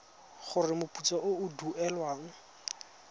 gore moputso o o duelwang